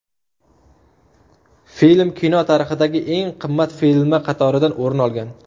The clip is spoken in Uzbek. Film kino tarixidagi eng qimmat filmlar qatoridan o‘rin olgan.